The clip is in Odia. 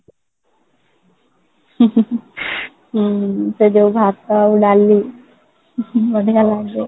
ହୁଁ ସେ ଯୋଉ ଭାତ ଆଉ ଡାଲି କି ବଢିଆ ଲାଗେ